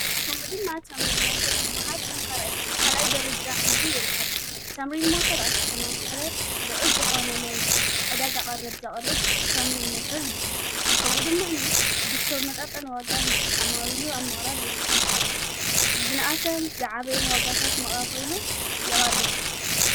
ከኡ ድማ ኣምሪል ሞተር ዝብሃል ከም ካልይ ደረጃ ሒዙ ይርከብ ተምሪል ሞተር ኣብ ከተማ ምቕለ ልዑል ዝኾነነይ ዕዳግ ቐረብ ዘቐርብ ተምሪል ሞተር ይበሃል ከኡ ድማኒ ብዝተመጣጠነ ዋጋ ንዓማዊሉ ኣብ ምቕራብ ይርከብ። ዝንኣሰን ዝዓበየን ዋጋታት መቓቒሎ የቐርብ